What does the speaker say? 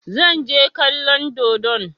Zan je kallon dodon.